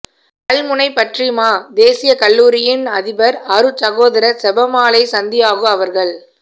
கல்முனை பற்றிமா தேசிய கல்லூரியின் அதிபர் அருட் சகோதரர் செபமாலை சந்தியாகு அவர்கள்